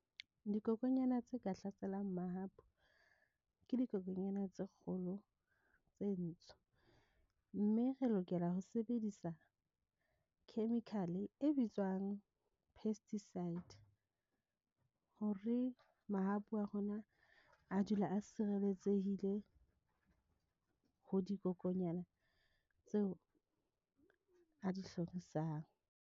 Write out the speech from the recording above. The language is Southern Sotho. Dikokonyana tse ka hlaselang mahapu. Ke dikokonyana tse kgolo tse ntsho mme re lokela ho sebedisa chemical e bitswang pesticide, hore mahapu a rona a dule a sireletsehile, ho dikokonyana tseo a di hlorisang.